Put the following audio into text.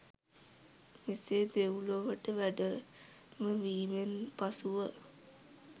මෙසේ දෙව්ලොවට වැඩමවීමෙන් පසුව